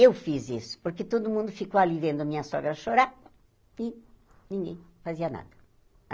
Eu fiz isso, porque todo mundo ficou ali vendo a minha sogra chorar, e ninguém fazia nada.